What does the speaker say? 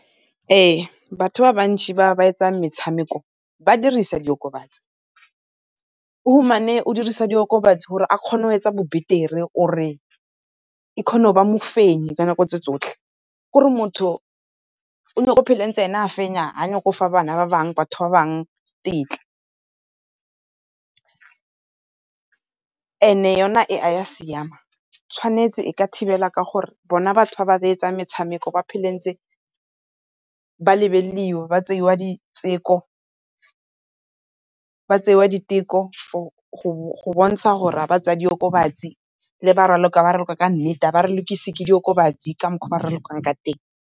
Ee batho ba bantšhi ba ba etsang metshameko ba dirisa diokobatsi, o humane o dirisa diokobatsi gore a kgone go etsa bo beteri or e kgone go nna mofenyi ka nako tse tsotlhe tsotlhe. Ke gore motho o nyako phela ntse ena a fenya a nyake go fa bana ba bangwe, batho ba bangwe tetla, and-e yona e a ya siama tshwanetse e ka thibela ka gore bona batho ba ba reetsang metshameko ba phela ntse ba lebelelwa ba tsewa diteko, ba tsewa diteko go bontsha gore ga ba tsaya diokobatsi le ba raloka ba raloka ka nnete ga ba ralokise ke diokobatsi ka mokgwa o ba ralokang ka teng.